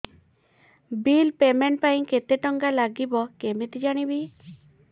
bill payment ପାଇଁ କେତେ କେତେ ଟଙ୍କା ଲାଗିବ କେମିତି ଜାଣିବି